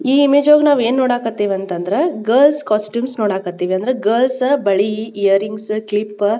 ಈ ಇಮೇಜ್ ನೊಳಗ ನಾವ್ ಏನ್ ನೋಡಕಥಿವ್ ಅಂದ್ರ ಗರ್ಲ್ಸ್ ಹಾಸ್ಟೆಲ್ ನೋಡಕಥಿವ್ ಅಂದ್ರೆ ಗರ್ಲ್ಸ್ ಬಳಿ ಈಯರಿಂಗ್ಸ್ ಕ್ಲಿಪ್ಪ --